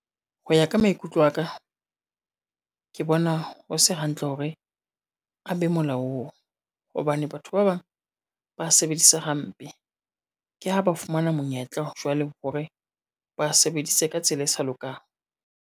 Ho ya ka maikutlo a ka, ke bona ho se hantle hore a be molaong, hobane batho ba bang ba sebedis hampe, ke ha ba fumana monyetla jwale hore ba sebedise ka tsela e sa lokang.